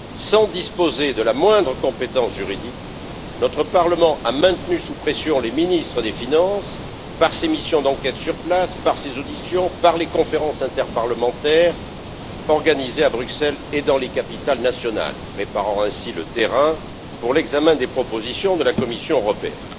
Sans disposer de la moindre compétence juridique, notre Parlement a maintenu sous pression les ministres des finances par ses missions d'enquête sur place, par ses auditions, par les conférences interparlementaires organisées à Bruxelles et dans les capitales nationales, préparant ainsi le terrain pour l'examen des propositions de la Commission européenne.